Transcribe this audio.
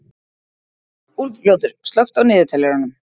Úlfljótur, slökktu á niðurteljaranum.